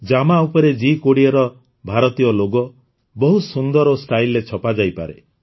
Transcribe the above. ଜାମା ଉପରେ ଜି୨୦ର ଭାରତୀୟ ଲୋଗୋ ବହୁତ ସୁନ୍ଦର ଓ ଷ୍ଟାଇଲ୍ରେ ଛପାଯାଇପାରେ